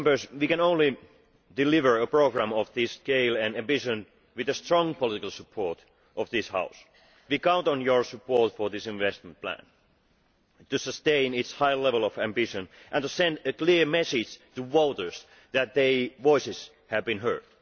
We can only deliver a programme of this scale and ambition with the strong political support of this House. We count on your support for this investment plan, to sustain its high level of ambition and to send a clear message to voters that their voices have been heard.